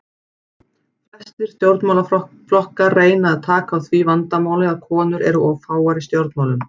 Flestir stjórnmálaflokkar reyna að taka á því vandamáli að konur eru of fáar í stjórnmálum.